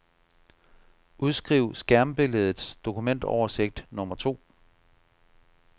Udskriv skærmbilledets dokumentoversigt nummer to.